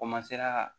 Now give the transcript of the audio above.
ka